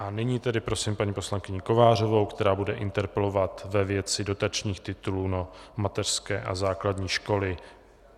A nyní tedy prosím paní poslankyni Kovářovou, která bude interpelovat ve věci dotačních titulů na mateřské a základní školy.